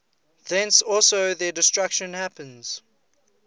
thence also their destruction happens